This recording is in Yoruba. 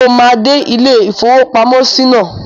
Mo máa dé ilé-ìfowópamọ́sí náà